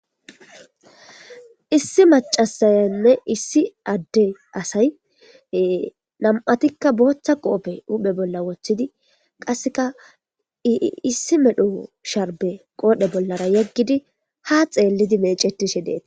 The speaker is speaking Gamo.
Issi macasayanne issi adee asayi nam''attikka boththa qoppe woththidi qasekka issi medhdho sharibbe qodhdhe bolla yegiddi haa xeellidi meecetishshe de'eetes.